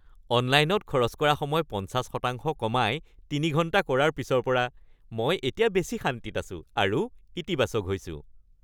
অনলাইনত খৰচ কৰা সময় ৫০ শতাংশ কমাই ৩ ঘণ্টা কৰাৰ পিছৰ পৰা মই এতিয়া বেছি শান্তিত আছোঁ আৰু ইতিবাচক হৈছোঁ। (ব্যক্তি ২)